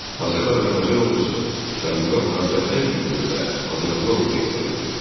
Hazırda Azərbaycan ordusu Cənubi Qafqazda ən güclü və hazırlıqlı ordu hesab edilir.